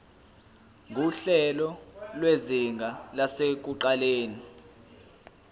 nguhlelo lwezinga lasekuqaleni